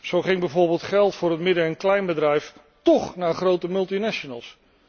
Zo ging bijvoorbeeld geld voor het midden en kleinbedrijf toch naar grote multinationals.